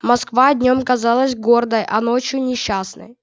москва днём казалась гордой а ночью несчастной